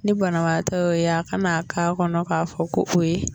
Ni banabaatɔ ye o ye a ka na k'a kɔnɔ k'a fɔ ko o ye